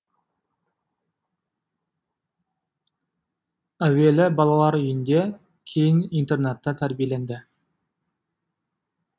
әуелі балалар үйінде кейін интернатта тәрбиеленді